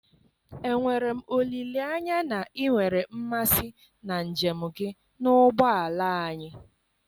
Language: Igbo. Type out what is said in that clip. enwere m olileanya na ị nwere mmasị na njem gị na ụgbọ ala anyị?